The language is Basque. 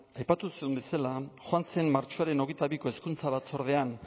aipatu duzun bezala joan zen martxoaren hogeita biko hezkuntza batzordean